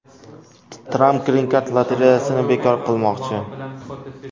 Tramp grin-kart lotereyasini bekor qilmoqchi.